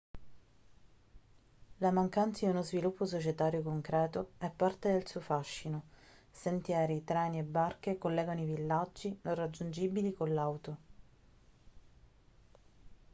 la mancanza di uno sviluppo societario concreto è parte del suo fascino sentieri treni e barche collegano i villaggi non raggiungibili con l'auto